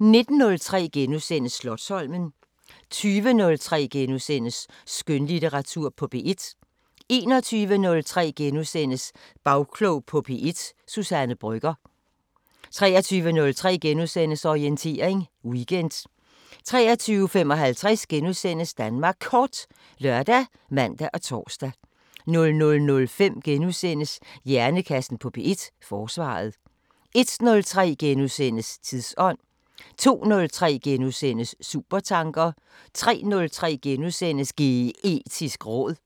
19:03: Slotsholmen * 20:03: Skønlitteratur på P1 * 21:03: Bagklog på P1: Suzanne Brøgger * 23:03: Orientering Weekend * 23:55: Danmark Kort *( lør, man, tor) 00:05: Hjernekassen på P1: Forsvaret * 01:03: Tidsånd * 02:03: Supertanker * 03:03: Geetisk råd *